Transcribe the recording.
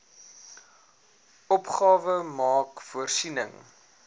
opgawe maak voorsiening